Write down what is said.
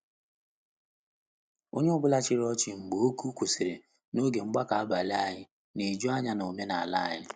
Onye ọ bụla chịrị ọchị mgbe oku kwụsịrị n'oge mgbakọ abalị anyị na-eju anya na omenala anyị.